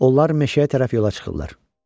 Onlar meşəyə tərəf yola çıxırlar.